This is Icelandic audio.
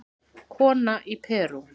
Kona í Perú